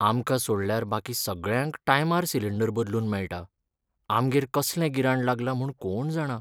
आमकां सोडल्यार बाकी सगळ्यांक टायमार सिलींडर बदलून मेळटा, आमगेर कसलें गिराण लागलां म्हूण कोण जाणा.